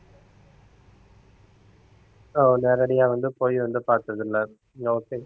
அஹ் நேரடியா வந்து போய் வந்து பார்த்ததில்லை okay